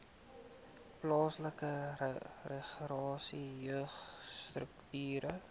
plaaslike regering jeugstrukture